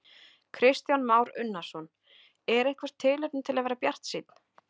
Kristján Már Unnarsson: Er eitthvert tilefni til að vera bjartsýnn?